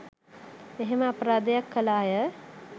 මෙහෙම අපරාධයක් කළ අය